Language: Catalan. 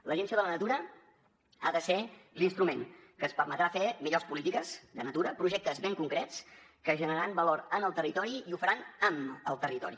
l’agència de la natura ha de ser l’instrument que ens permetrà fer millors polítiques de natura projectes ben concrets que generaran valor en el territori i ho faran amb el territori